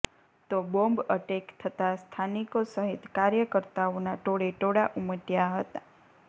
તો bomb attack થતા સ્થાનિકો સહિત કાર્યકર્તાઓના ટોળે ટોળા ઉમટ્યા હતા